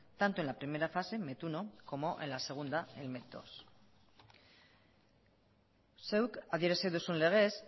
tanto en la primera fase met uno como en la segunda met dos zeuk adierazi duzun legez